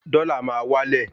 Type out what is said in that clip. Dọ́là máa wá lẹ̀